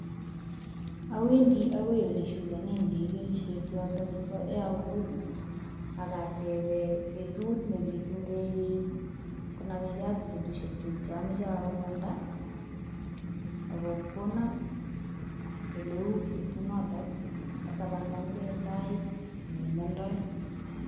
Awendi akoi oleshukonen ndegeishek yoton yebo Airport akateben betut nepitu ndegeit konameke ak betusiekchuk cheamoche amanda akokonon oleu betunoto asapangange en sait nemondoi.